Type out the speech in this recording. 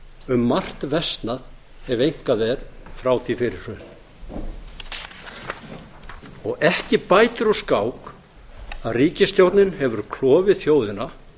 um margt versnað ef eitthvað er frá því fyrir hrun ekki bætir úr skák að ríkisstjórnin hefur klofið þjóðina